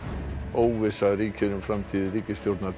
óvissa ríkir um framtíð ríkisstjórnar